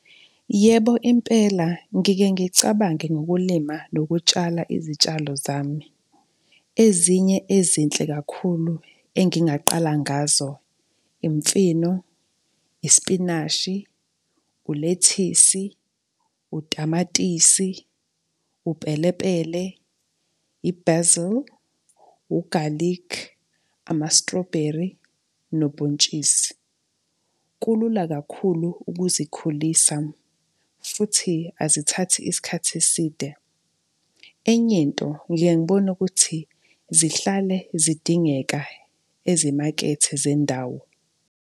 Yebo, impela ngike ngicabange ngokulima nokutshala izitshalo zami. Ezinye ezinhle kakhulu engingaqala ngazo, imfino, isipinashi, ulethisi, utamatisi, upelepele, i-basil, ugalikhi, ama-strawberry nobhontshisi. Kulula kakhulu ukuzikhulisa futhi azithathi isikhathi eside. Enye into, ngike ngibone ukuthi zihlale zidingeka ezimakethe zendawo.